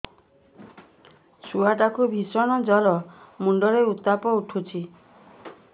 ଛୁଆ ଟା କୁ ଭିଷଣ ଜର ମୁଣ୍ଡ ରେ ଉତ୍ତାପ ଉଠୁଛି